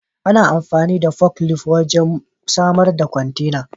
Ana amfani da forklift wajen masar da kwantena.